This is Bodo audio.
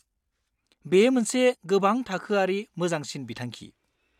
बेयो मोनसे गोबां थाखोआरि मोजांसिन बिथांखि।